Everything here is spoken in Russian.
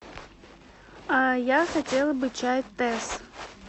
я хотела бы чай тесс